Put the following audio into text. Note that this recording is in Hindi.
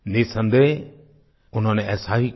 निःसंदेह उन्होंने ऐसा ही किया